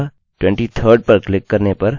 यह वर्ष का बड़ा प्रारूप है